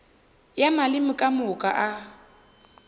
ya maleme ka moka a